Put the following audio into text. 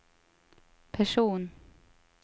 person